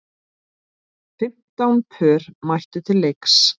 Fimmtán pör mættu til leiks.